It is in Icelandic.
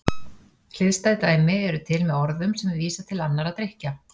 Hliðstæð dæmi eru til með orðum sem vísa til annarra drykkja.